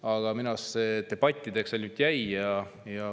Aga minu arust see kõik ainult debattideks jäigi.